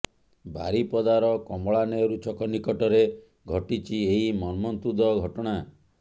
ବାରିପଦାର କମଳାନେହେରୁ ଛକ ନିକଟରେ ଘଟିଛି ଏହି ମର୍ମନ୍ତୁଦ ଘଟଣା